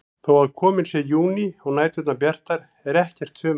Þó að kominn sé júní og næturnar bjartar er ekkert sumarveður.